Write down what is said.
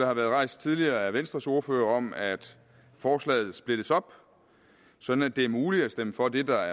har været rejst tidligere af venstres ordfører om at forslaget splittes op sådan at det er muligt at stemme for det der